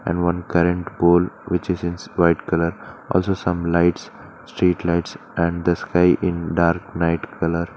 And one current pole which is in white colour also some lights street lights and the sky in dark night colour.